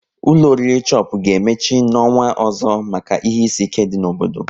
Ụlọ oriri Chopu ga emechi n'ọnwa ọzọ maka ihe isi ike dị n'obodo